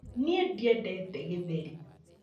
Ni ndiendete gĩtheri